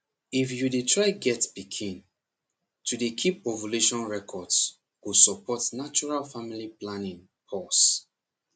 if you dey try get pikin to dey keep ovulation records go support natural family planning pause